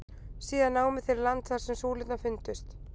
Síðan námu þeir land þar sem súlurnar fundust.